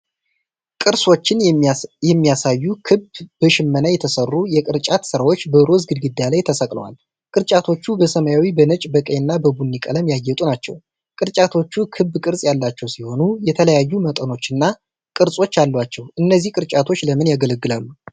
ቅርሶችን የሚያሳዩ ክብ በሽመና የተሠሩ የቅርጫት ሥራዎች በሮዝ ግድግዳ ላይ ተሰቅለዋል። ቅርጫቶቹ በሰማያዊ፣ በነጭ፣ በቀይና በቡኒ ቀለም ያጌጡ ናቸው። ቅርጫቶቹ ክብ ቅርጽ ያላቸው ሲሆኑ፣ የተለያዩ መጠኖችና ቅርጾች አሏቸው። እነዚህ ቅርጫቶች ለምን ያገለግላሉ?